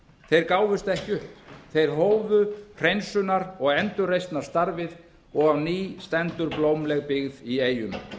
þeir gáfust ekki upp þeir hófu hreinsunar og endurreisnarstarfið og á ný stendur blómleg byggð í eyjum